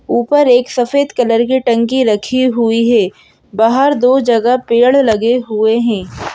ऊपर एक सफेद कलर की टंकी रखी हुई है बाहर दो जगह पेड़ लगे हुए हैं।